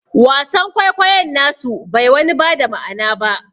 Wasan kwaikoyon nasu bai wani bada ma'ana ba